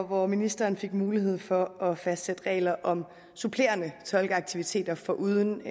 hvor ministeren fik mulighed for at fastsætte regler om supplerende tolkeaktiviteter foruden